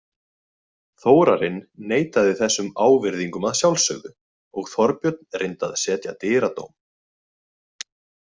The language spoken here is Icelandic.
Þórarinn neitaði þessum ávirðingum að sjálfsögðu og Þorbjörn reyndi að setja dyradóm.